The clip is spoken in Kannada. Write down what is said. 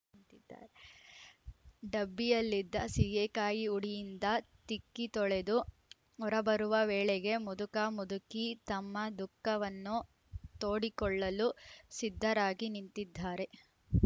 ಡಬ್ಬಿಯಲ್ಲಿದ್ದ ಸೀಗೆಕಾಯಿ ಹುಡಿಯಿಂದ ತಿಕ್ಕಿ ತೊಳೆದು ಹೊರಬರುವ ವೇಳೆಗೆ ಮುದುಕ ಮುದುಕಿ ತಮ್ಮ ದುಖಃವನ್ನು ತೋಡಿಕೊಳ್ಳಲು ಸಿದ್ಧರಾಗಿ ನಿಂತಿದ್ದಾರೆ